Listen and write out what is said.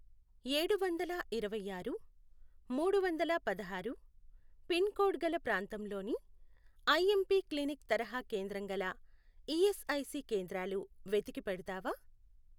ఏడువందల ఇరవై ఆరు, మూడువందల పదహారు, పిన్ కోడ్ గల ప్రాంతంలోని ఐఎంపి క్లినిక్ తరహా కేంద్రం గల ఈఎస్ఐసి కేంద్రాలు వెటికి పెడతావా?